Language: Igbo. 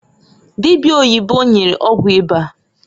Dibia oyibo nyere ọgwụ ịba.